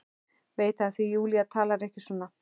Veit það því Júlía talar ekki svona.